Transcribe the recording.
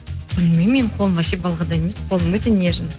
білмеймін менің қолым вообще балғадай емес қолым өте нежный